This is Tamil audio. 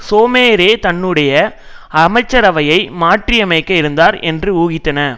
சோமரே தன்னுடைய அமைசரவையை மாற்றியமைக்க இருந்தார் என்று ஊகித்தன